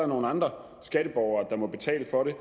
nogle andre skatteborgere der må betale for det